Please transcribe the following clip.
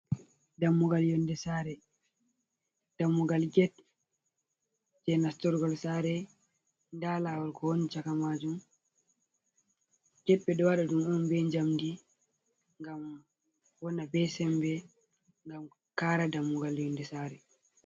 "Dammugal yonde saare" dammugal get je nastorgal saare nda lawal ko woni chaka majun get ɓeɗo waɗa ɗum on be jamdi ngam waɗa be sembe ngam kara dammugal yonde saare.